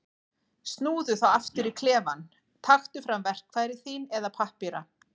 Snúðu þá aftur í klefann, taktu fram verkfæri þín eða pappíra.